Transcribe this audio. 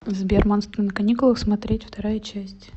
сбер монстры на каникулах смотреть вторая часть